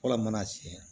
Fɔlɔ mana siɲɛ